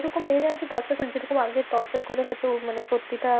এরকম মেয়ে আর কি torture করে যেরকম আগে torture করে হয়েছে ওর মানে সত্যিটা।